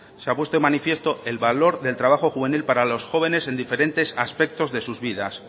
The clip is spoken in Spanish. se ha puesto de manifiesto el valor del trabajo juvenil para los jóvenes en diferentes aspectos de sus vidas